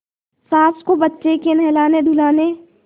सास को बच्चे के नहलानेधुलाने